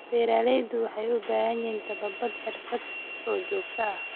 Beeraleydu waxay u baahan yihiin tababar xirfadeed oo joogto ah.